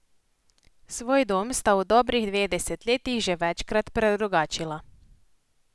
Svoj dom sta v dobrih dveh desetletjih že večkrat predrugačila.